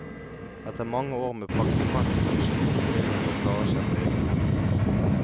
Etter mange år med praktikant i huset, må familien nå klare seg på egen hånd.